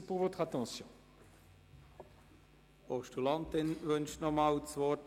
Die Postulantin wünscht noch einmal das Wort.